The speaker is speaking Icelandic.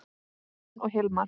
Kristin og Hilmar.